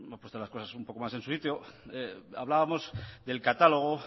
puesto las cosas más en su sitio hablábamos del catálogo